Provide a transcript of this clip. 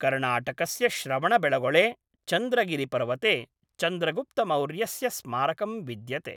कर्णाटकस्य श्रवणबेळगोळे, चन्द्रगिरिपर्वते चन्द्रगुप्तमौर्यस्य स्मारकं विद्यते।